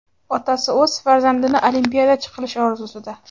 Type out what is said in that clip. Otasi o‘z farzandini olimpiadachi qilish orzusida.